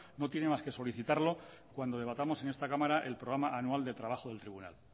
no tiene más que solicitarlo cuando debatamos en esta cámara el programa anual de trabajo del tribunal